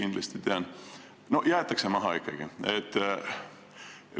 No ikkagi jäetakse kedagi maha.